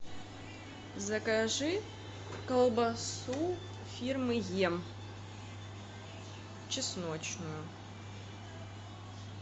закажи колбасу фирмы ем чесночную